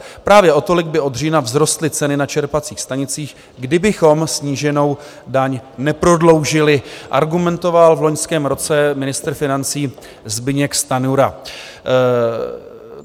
Právě o tolik by od října vzrostly ceny na čerpacích stanicích, kdybychom sníženou daň neprodloužili," argumentoval v loňském roce ministr financí Zbyněk Stanjura.